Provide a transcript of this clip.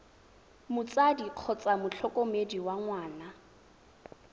motsadi kgotsa motlhokomedi wa ngwana